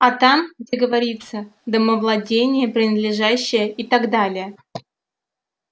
а там где говорится домовладение принадлежащее и так далее